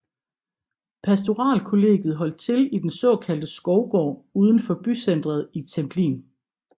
Pastoralkollegiet holdt til i den såkaldte Skovgård udenfor bycenteret i Templin